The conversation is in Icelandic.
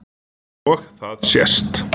Og það sést